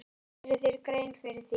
Þú gerir þér grein fyrir því.